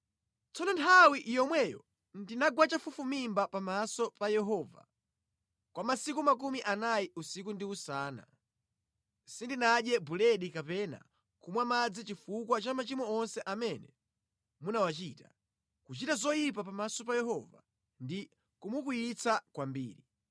Tsono nthawi yomweyo ndinagwa chafufumimba pamaso pa Yehova kwa masiku makumi anayi usiku ndi usana. Sindinadye buledi kapena kumwa madzi chifukwa cha machimo onse amene munawachita, kuchita zoyipa pamaso pa Yehova ndi kumukwiyitsa kwambiri.